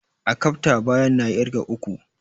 Akafta, bayan na ƙirga uku!